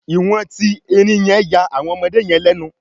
iwọn ti erin ya awọn ọmọdé yen lénu